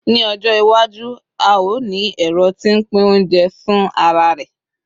ní ọjọ iwaju, a o ni ẹrọ ti n pin ounjẹ fin ara rẹ